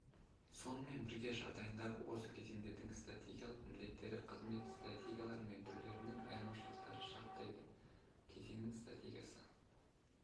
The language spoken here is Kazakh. сонымен бірге жағдайындағы осы кезеңдердің стратегиялық міндеттері қызмет стратегиялары мен түрлерінің айырмашылықтарын шарттайды кезеңнің стратегиясы